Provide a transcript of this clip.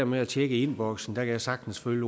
med at tjekke e boks jeg kan sagtens følge